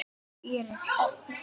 Íris Erna.